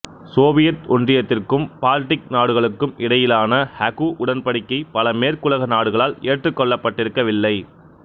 சோவியற் ஒன்றியத்திற்கும் பால்டிக் நாடுகளுக்கும் இடையிலான ஹகு உடன்படிக்கை பல மேற்குலக நாடுகளால் ஏற்றுக் கொள்ளப்பட்டிருக்கவில்லை